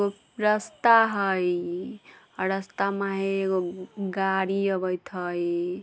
रस्ता हई अ रस्ता में एगो गाड़ी आवैत हई।